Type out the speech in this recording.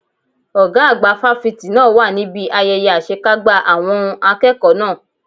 Ọ̀gá àgbà fáfitì náà wà níbi ayẹyẹ àṣekágbá àwọn n akẹ́kọ̀ọ́ náà.